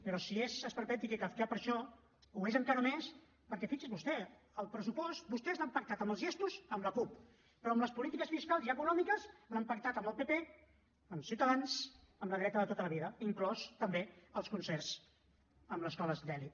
però si és esperpèntic i kafkià per això ho és encara més perquè fixi’s vostè el pressupost vostès l’han pactat en els gestos amb la cup però en les polítiques fiscals i econòmiques l’han pactat amb el pp amb ciutadans amb la dreta de tota la vida inclosos també els concerts amb les escoles d’elit